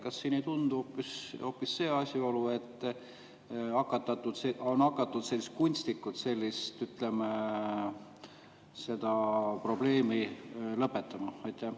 Kas siin ei tundu hoopis olevat see asjaolu, et on hakatud kunstnikult seda probleemi lõpetama?